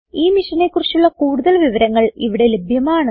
ഈ മിഷനെ കുറിച്ചുള്ള കുടുതൽ വിവരങ്ങൾ ഇവിടെ ലഭ്യമാണ്